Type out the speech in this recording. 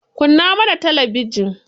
Kunna mana talabijin.